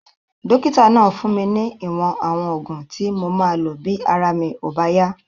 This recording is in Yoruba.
Dókítà náà fún mi ní ìwọ̀n àwọn oògùn tí mo máa lò bí ara mi ò bá yá